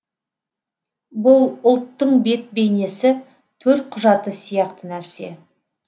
бұл ұлттың бет бейнесі төлқұжаты сияқты нәрсе